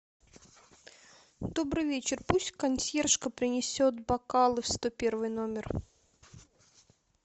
добрый вечер пусть консьержка принесет бокалы в сто первый номер